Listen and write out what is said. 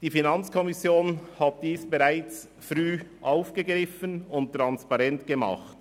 Die FiKo hat diese bereits früh aufgegriffen und transparent gemacht.